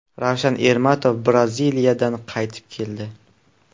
Ravshan Ermatov Braziliyadan qaytib keldi.